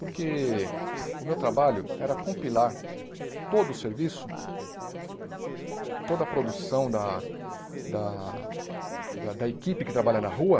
Porque o meu trabalho era compilar todo o serviço, toda a produção da da da da equipe que trabalha na rua,